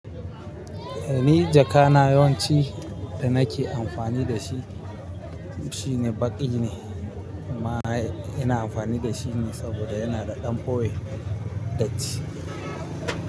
Ni jaka na yawanci da na ke amfani da shi, shi ne baƙi ne amma ina amfani da shi ne saboda yana da ɗan fowe datti.